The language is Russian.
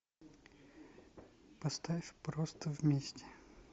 поставь просто вместе